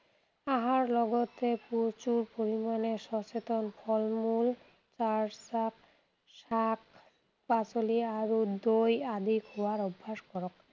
আহাৰ লগতে প্ৰচুৰ পৰিমাণে সচেতন ফল-মূল, চালাড, শাক, পাচলি আৰু দৈ আদি খোৱাৰ অভ্যাস কৰক।